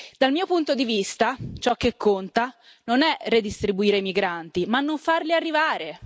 Dal mio punto di vista, ciò che conta non è redistribuire i migranti, ma non farli arrivare.